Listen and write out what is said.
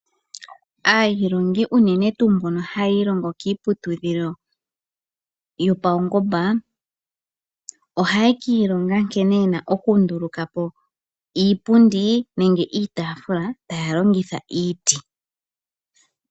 Aailongi unene tuu mbono haya ilongo kiiputudhilo yopaungomba, ohaya ka ilonga nkene ye na okunduluka po iipundi nenge iitaafula taya longitha iiti.